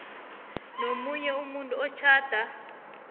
nomunye umuntu otjhada